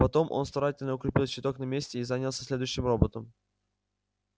потом он старательно укрепил щиток на месте и занялся следующим роботом